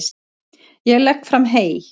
Ég legg fram hey.